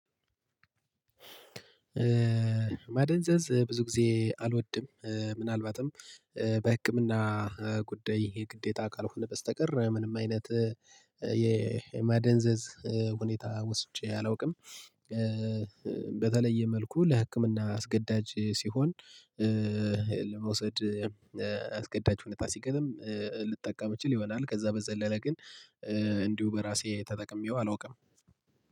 ማደንዘዝ ብዙ ጊዜ አልወድም። ምናልባትም በህክምና ጉዳይ ይሄ ግዴታ ካልሆነ በስተቀር ምንም አይነት የማደንዘዝ ሁኔታ ወስጄ አላውቅም። በተለየ መልኩ ለህክምና አስገዳጅ ሲሆን ለመውሰድ አስገዳጅ ሁኔታ ሲገጥም ልጠቀም ይችል ይሆናል። ከዛ በዘለለ ግን እንዲሁ በራሴ ተጠቅሜው አላውቅም